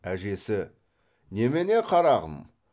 әжесі немене қарағым